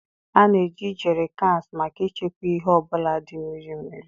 A na-eji Jerry Cans maka ịchekwa ihe ọ bụla dị mmiri mmiri.